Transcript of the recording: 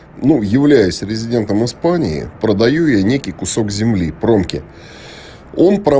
ну являясь резидентом испании продаю её некий кусок земли пронки он про